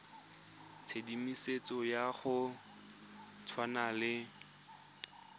tshedimosetso ya go tshwana le